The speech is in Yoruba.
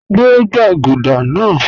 Gbẹ̀ gbagúdà naa